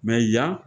yan